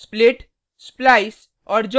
unshift split